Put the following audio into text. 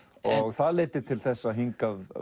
það leiddi til þess að hingað